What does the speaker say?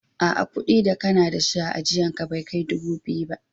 A'a, kudi da kana dashi a ajian ka Bai Kai dubu biyu ba.